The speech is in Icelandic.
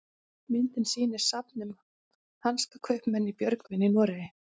myndin sýnir safn um hansakaupmenn í björgvin í noregi